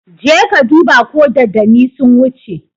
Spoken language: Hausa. Je ka duba ko dodanni sun wuce!